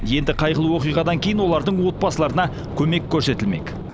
енді қайғылы оқиғадан кейін олардың отбасыларына көмек көрсетілмек